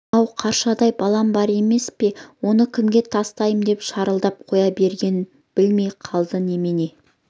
ау қаршадай балам бар емес пе оны кімге тастаймын деп шырылдап қоя бергенін білмей қалды немене